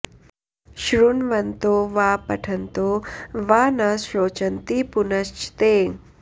श्रुण्वन्तो वा पठन्तो वा न शोचन्ति पुनश्च ते